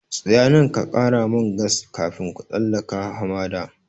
Tsaya nan ka ƙara man gas kafin ku tsallaka hamada!